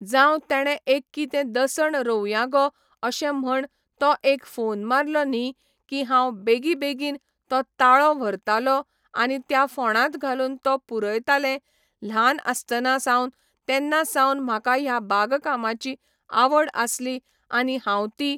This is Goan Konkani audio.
जांव तेणे एक कितें दसण रोंवयां गो अशें म्हण तो एक फोन मारलो न्ही की हांव बेगीबेगीन तो ताळो व्हरताले आनी त्या फोंडांत घालून तो पुरयतालें ल्हान आसताना सावन तेन्ना सावन म्हाका ह्या बागकामाची आवड आसली आनी हांव ती